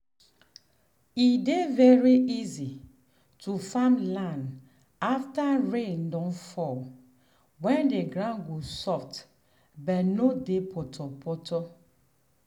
e dey very easy to farm land after rain don fall when the ground go soft but no dey potopoto.